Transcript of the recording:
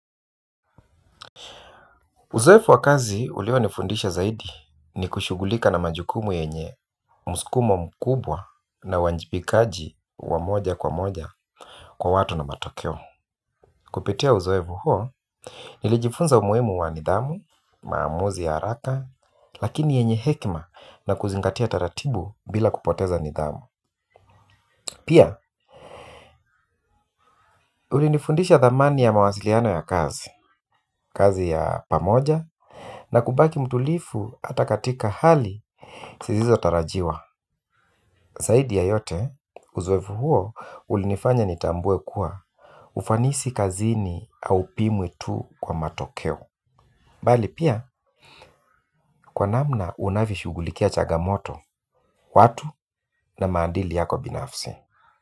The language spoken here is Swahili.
Uzoefu wa kazi ulionifundisha zaidi ni kushughulika na majukumu yenye, msukumo mkubwa na uwajibikaji wa moja kwa moja kwa watu na matokeo. Kupitia uzoefu huo, nilijifunza umuhimu wa nidhamu, maamuzi ya haraka, lakini yenye hekima na kuzingatia taratibu bila kupoteza nidhamu. Pia, ulinifundisha thamani ya mawasiliano ya kazi, kazi ya pamoja, na kubaki mtulivu hata katika hali, zisizo tarajiwa. Zaidi ya yote, uzoefu huo ulinifanya nitambue kuwa ufanisi kazini au pimwe tu kwa matokeo. Bali pia, kwa namna unavyoshughulikia changamoto, watu na maadili yako binafsi.